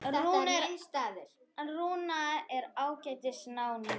Rúnar er ágætis náungi.